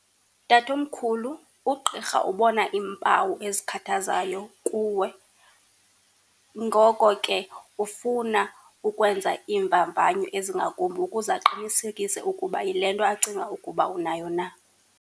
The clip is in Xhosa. Tatomkhulu, ugqirha ubona iimpawu ezikhathazayo kuwe, ngoko ke ufuna ukwenza iimvamvanyo ezingakumbi ukuze aqinisekise ukuba yile nto acinga ukuba unayo na.